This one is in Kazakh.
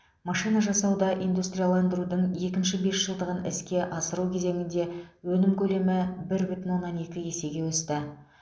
машинажасауда индустрияландырудың екінші бесжылдығын іске асыру кезеңінде өнім көлемі бір бүтін оннан екі есеге өсті